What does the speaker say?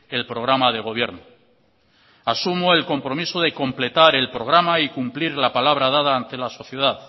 el programa de gobierno asumo el compromiso de completar el programa y cumplir la palabra dada ante la sociedad